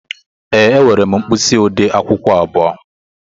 Ee, enwere m mkpisi ode akwukwo abụọ.